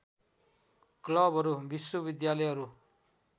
क्लबहरू विश्वविद्यालयहरू